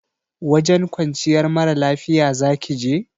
Wajen kwanciyar mara lafiya zaki je?